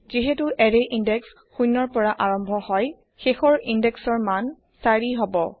এই এৰেয়ৰ ইনদেক্স শূন্যৰ পৰা আৰম্ভ হব আৰু শেষৰ ইন্দেক্সৰ মান ৪ হব